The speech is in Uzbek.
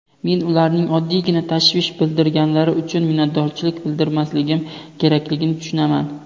Men ularning oddiygina tashvish bildirganlari uchun minnatdorchilik bildirmasligim kerakligini tushunaman.